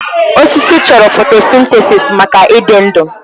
Osisi chọrọ fotosintesis maka ịdị ndụ.